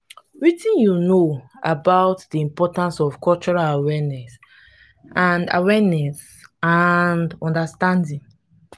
wetin you know about di importance of cultural awareness and awareness and understanding?